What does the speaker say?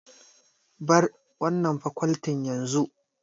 Bar wannan fakoltin yanzu!